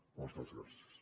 moltes gràcies